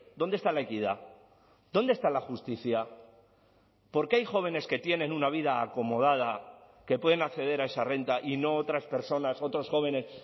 dónde está la equidad dónde está la justicia por qué hay jóvenes que tienen una vida acomodada que pueden acceder a esa renta y no otras personas otros jóvenes